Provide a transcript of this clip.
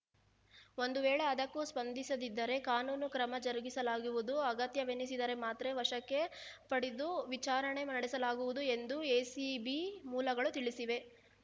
ಒಂದು ವೇಳೆ ಅದಕ್ಕೂ ಸ್ಪಂದಿಸದಿದ್ದರೆ ಕಾನೂನು ಕ್ರಮ ಜರುಗಿಸಲಾಗುವುದು ಅಗತ್ಯವೆನಿಸಿದರೆ ಮಾತ್ರೆ ವಶಕ್ಕೆ ಪಡೆದು ವಿಚಾರಣೆ ನಡೆಸಲಾಗುವುದು ಎಂದು ಎಸಿಬಿ ಮೂಲಗಳು ತಿಳಿಸಿವೆ